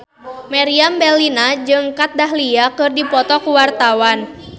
Meriam Bellina jeung Kat Dahlia keur dipoto ku wartawan